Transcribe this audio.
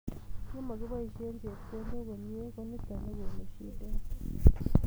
ye makibaishen chepkondok komie ko nito nekonu shidet